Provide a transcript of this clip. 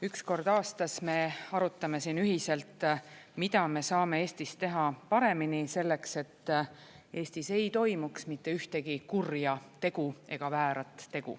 Üks kord aastas me arutame siin ühiselt, mida me saame Eestis teha paremini selleks, et Eestis ei toimuks mitte ühtegi kurja tegu ega väärat tegu.